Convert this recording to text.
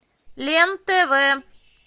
лен тв